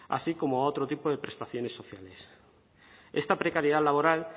así como otro a tipo de prestaciones sociales esta precariedad laboral